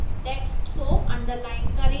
text को underline करें